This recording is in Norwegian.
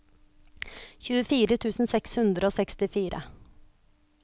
tjuefire tusen seks hundre og sekstifire